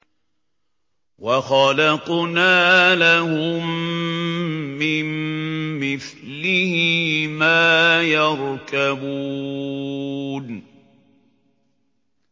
وَخَلَقْنَا لَهُم مِّن مِّثْلِهِ مَا يَرْكَبُونَ